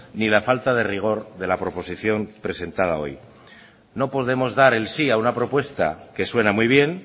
ni la falta de rigor de la proposición presentada hoy no podemos dar el sí a una propuesta que suena muy bien